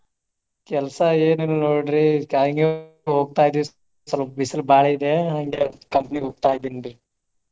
ಕೆಲ್ಸಾ ಏನ ಇಲ್ಲ ನೋಡ್ರಿ ಬಿಸಿಲು ಬಾಳ ಇದೆ ಹಂಗಾಗಿ company ಗೆ ಹೋಗ್ತಾ ಇದಿನ್ರಿ.